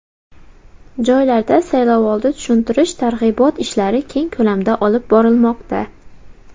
Joylarda saylovoldi tushuntirish-targ‘ibot ishlari keng ko‘lamda olib borilmoqda.